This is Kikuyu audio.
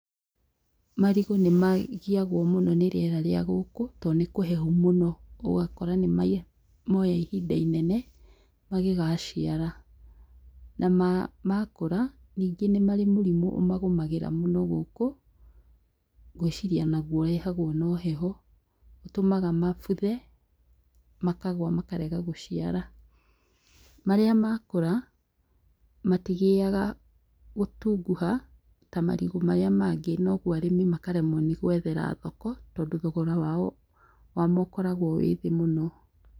Marigũ nĩmagiagwo mũno nĩ rĩera rĩa gũkũ , to nĩkũhehu mũno . ũgakora nĩmoya ihinda inene magĩgaciara. Makũra ningĩ nĩmarĩ mũrimũ ũmagũmagĩra mũno gũkũ, ngũĩciria onaguo ũrehagwo no heho. ũtũmaga mabuthe, makagwa makarega gũciara. Marĩa makũra matigĩaga gũtunguha ta marigo marĩa mangĩ, noguo arĩmi makaremwo nĩgwethera thoko, tondũ thogora wamo ũkoragwo wĩthĩ mũno.